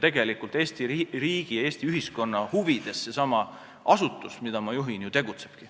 Eesti riigi ja Eesti ühiskonna huvides seesama asutus, mida ma juhin, ju tegutsebki.